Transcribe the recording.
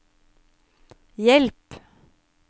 hjelp